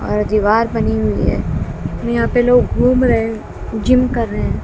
और दीवार बनी हुई है यहां पे लोग घूम रहे जिम कर रहे--